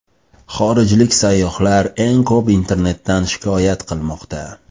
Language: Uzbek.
Xorijlik sayyohlar eng ko‘p internetdan shikoyat qilmoqda.